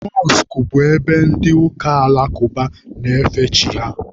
Mọskụ bụ ebe ndị ụka alakụba na-efe chi ha